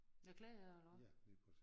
Nåh Klægager eller hvad?